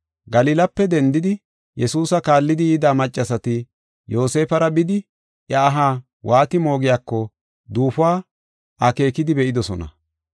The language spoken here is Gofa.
Galilape dendidi Yesuusa kaallidi yida maccasati Yoosefara bidi iya aha waati moogiyako duufuwa akeekidi be7idosona.